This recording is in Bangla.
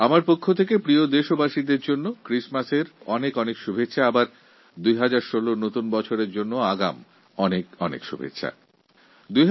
আমিও সকল দেশবাসীকে Christmasএর অনেক শুভেচ্ছা আর ইংরেজি নতুন বছর ২০১৬র অনেক অনেক শুভকামনা জানাচ্ছি